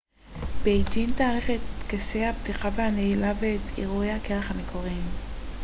בייג'ין תארח את טקסי הפתיחה והנעילה ואת אירועי הקרח המקורים